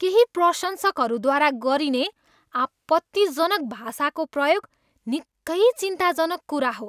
केही प्रशंसकहरूद्वारा गरिने आपत्तिजनक भाषाको प्रयोग निकै चिन्ताजनक कुरा हो।